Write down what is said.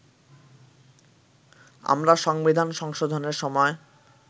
আমরা সংবিধান সংশোধনের সময়